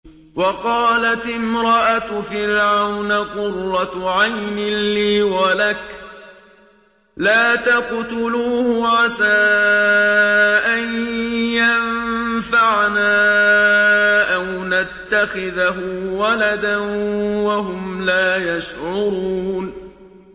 وَقَالَتِ امْرَأَتُ فِرْعَوْنَ قُرَّتُ عَيْنٍ لِّي وَلَكَ ۖ لَا تَقْتُلُوهُ عَسَىٰ أَن يَنفَعَنَا أَوْ نَتَّخِذَهُ وَلَدًا وَهُمْ لَا يَشْعُرُونَ